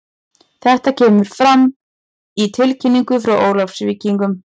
Þetta kemur fram í tilkynningu frá Ólafsvíkingum.